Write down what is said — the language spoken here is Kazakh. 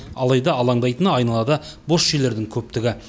алайда алаңдайтыны айналада бос жерлердің көптігі